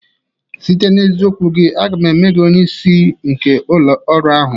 Site n'eziokwu gị, aga m eme gị onye isi nke ụlọ ọrụ ahụ